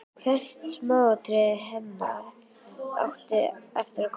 Hvert smáatriði hennar átti eftir að koma fram.